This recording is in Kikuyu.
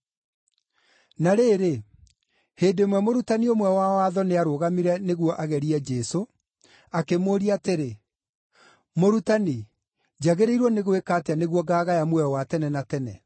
Na rĩrĩ, hĩndĩ ĩmwe mũrutani ũmwe wa watho nĩarũgamire nĩguo agerie Jesũ, akĩmũũria atĩrĩ, “Mũrutani, njagĩrĩirwo nĩ gwĩka atĩa nĩguo ngaagaya muoyo wa tene na tene?”